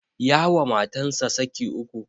Ya wa matansa saki uku